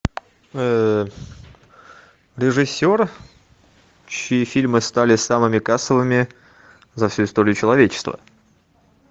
режиссер чьи фильмы стали самыми кассовыми за всю историю человечества